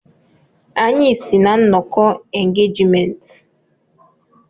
Anyị si na nnọkọ engejmenntị.